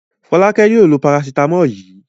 Fọ́lákẹ́ yóò lo parasítámọ̀ yìí.